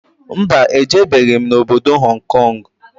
Mba, ejebeghi m obodo Hong Kong